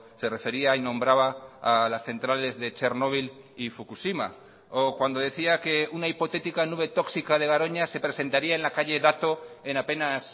se refería y nombraba a las centrales de chernóbil y fukushima o cuando decía que una hipotética nube tóxica de garoña se presentaría en la calle dato en apenas